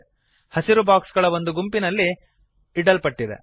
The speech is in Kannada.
ಹಸಿರು ಬಾಕ್ಸ್ ಗಳ ಒಂದು ಗುಂಪಿನಲ್ಲಿ ಇಡಲ್ಪಟ್ಟಿದೆ